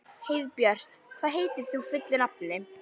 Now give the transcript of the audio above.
Heiðbjört, hvað heitir þú fullu nafni?